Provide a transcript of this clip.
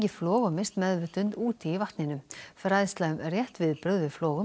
flog og misst meðvitund úti í vatninu fræðsla um rétt viðbrögð við